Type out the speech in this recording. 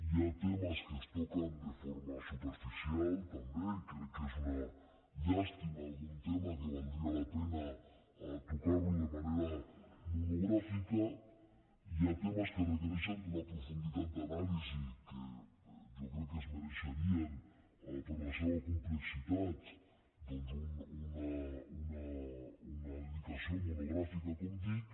hi ha temes que es toquen de forma superficial també i crec que és una llàstima hi ha algun tema que valdria la pena tocar lo de manera monogràfica hi ha temes que requereixen d’una profunditat d’anàlisi que jo crec que es mereixerien per la seva complexitat doncs una dedicació monogràfica com dic